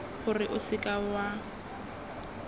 gore o seka w a